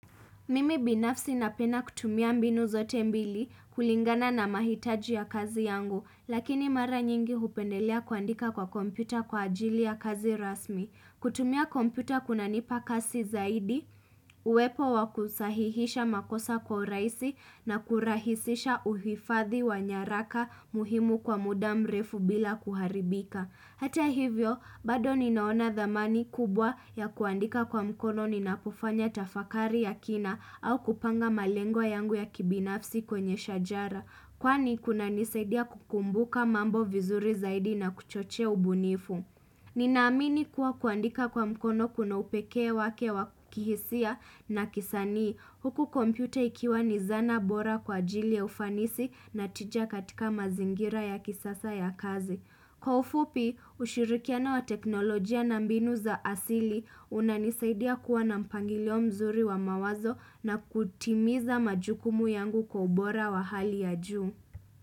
Mimi binafsi napenda kutumia mbinu zote mbili kulingana na mahitaji ya kazi yangu, lakini mara nyingi hupendelea kuandika kwa kompyuta kwa ajili ya kazi rasmi. Kutumia kompyuta kunanipa kasi zaidi, uwepo wa kusahihisha makosa kwa urahisi na kurahisisha uhifadhi wa nyaraka muhimu kwa muda mrefu bila kuharibika. Hata hivyo, bado ninaona thamani kubwa ya kuandika kwa mkono ninapofanya tafakari ya kina au kupanga malengo yangu ya kibinafsi kwenye shajara. Kwani kunanisaidia kukumbuka mambo vizuri zaidi na kuchochea ubunifu. Ninaamini kuwa kuandika kwa mkono kuna upekee wake wa kihisia na kisanii. Huku kompyuta ikiwa ni zana bora kwa ajili ya ufanisi na tija katika mazingira ya kisasa ya kazi. Kwa ufupi, ushirikiano wa teknolojia na mbinu za asili, unanisaidia kuwa na mpangilio mzuri wa mawazo na kutimiza majukumu yangu kwa ubora wa hali ya juu.